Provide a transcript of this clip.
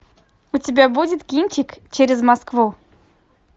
у тебя будет кинчик через москву